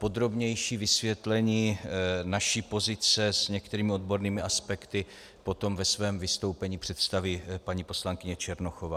Podrobnější vysvětlení naší pozice s některými odbornými aspekty potom ve svém vystoupení představí paní poslankyně Černochová.